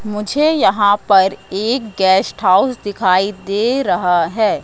मुझे यहां पर एक गेस्ट हाउस दिखाई दे रहा है।